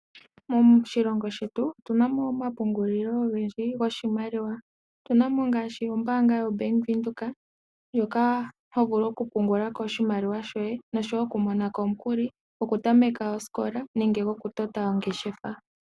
Moshilongo shetu otuna mo omapungulilo ogendji goshimaliwa. Otuna mo ngaashi ombaanga yo Bank Windhoek ndjoka ho vulu okupungula ko oshimaliwa shoye noshowo okumona ko omukuli gokutameka osikola nenge gokutota ongeshefa.